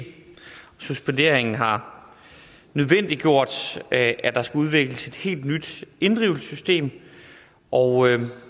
suspenderingen har nødvendiggjort at der skal udvikles et helt nyt inddrivelsessystem og